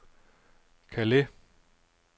Calais